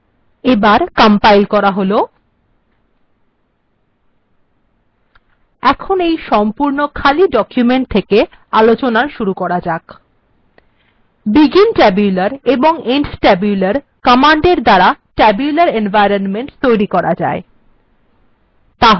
এবার এটি কম্পাইল্ করা হল এবার এই সম্পূর্ণ খালি ডকুমেন্ট্ থেকে আলোচনা শুরু করা যাক begin tabular এবং end tabular কমান্ডএর দ্বারা tabular এনভয়রনমেন্ট্ তৈরী করা যায়